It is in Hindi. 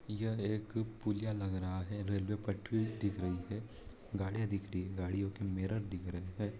यह एक पुलिया लग रहा है रेलवे पटरी दिख रही है गड़िया दिख रही हैं गाड़ियो के मिरर दिख रहे हैं।